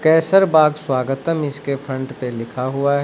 केसर बाग स्वागतम इसके फ्रंट पे लिखा हुआ है।